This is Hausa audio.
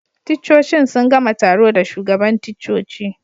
Ticcocin sun gama taro da shugaban ticcoci.